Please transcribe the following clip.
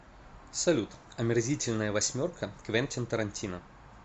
салют омерзительная восьмерка квентин тарантино